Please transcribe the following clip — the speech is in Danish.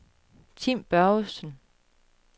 Tim Børgesen